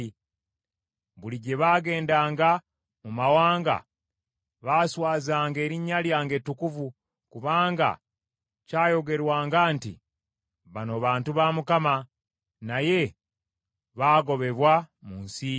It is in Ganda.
Buli gye baagendanga mu mawanga baaswazanga erinnya lyange ettukuvu, kubanga kyayogerwanga nti, ‘Bano bantu ba Mukama , naye baagobebwa mu nsi ye.’